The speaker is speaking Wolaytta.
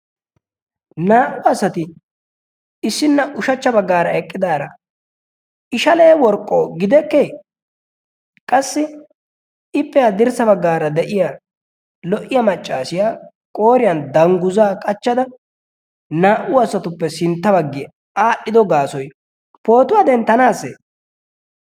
naa"u asati issina ushachcha baggaara eqqidaara ishalee worqqo gidekkee qassi ippe adirssa baggaara de'iya lo"iya maccaasiya qooriyan dangguzaa qachchada naa"u asatuppe sintta baggiyaa aadhdhido gaasoi pootuwaa denttanaasse